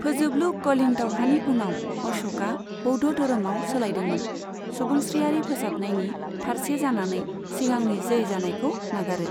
फोजोबलु कलिंग दावहानि उनाव अश'कआ बौद्ध धोरोमाव सोलायदोंमोन, सुबुंस्रियारि फोसाबनायनि फारसे जानानै सिगांनि जै जानायखौ नागारो।